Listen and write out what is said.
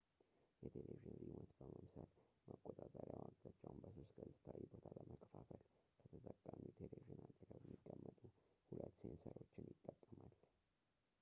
የቴሌቪዥን ሪሞት በመምሰል መቆጣጠሪያው አቅጣጫውን በሶስት-ገፅታዊ ቦታ ለመከፋፈል ከተጠቃሚው ቴሌቪዥን አጠገብ የሚቀመጡ ሁለት ሴንሰሮችን ይጠቀማል